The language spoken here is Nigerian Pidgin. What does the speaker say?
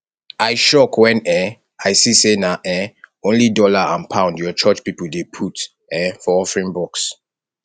i shock wen um i see say na um only dollar and pound your church people dey put um for offering box